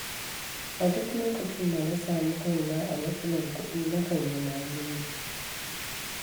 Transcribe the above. A duk lokacin da na sami kaina a matsalar kuɗi na kan yi maleji.